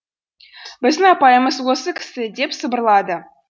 біздің апайымыз осы кісі деп сыбырлады